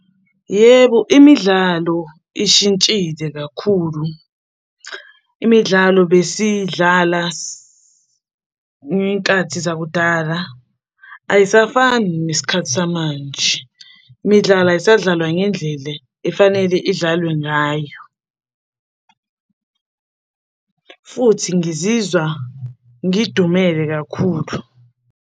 Yebo, imidlalo ishintshile kakhulu, imidlalo besiyidlala ngey'nkathi zakudala, ayisafani nesikhathi samanje. Imidlalo ayisadlalwa ngendlele efanele idlalwe ngayo, futhi ngizizwa ngidumele kakhulu.